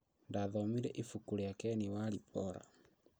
Ndathomire ibuku rĩa Ken walibora